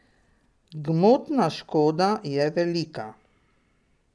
Gmotna škoda je velika.